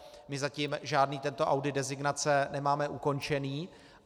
My zatím žádný tento audit designace nemáme ukončený.